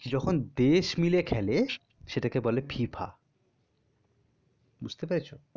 যখন দেশ মিলে খেলে সেটাকে বলে FIFA বুজতে পেরেছো?